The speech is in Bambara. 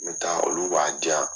N bɛ taa olu b'a diyan